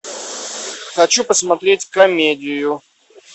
хочу посмотреть комедию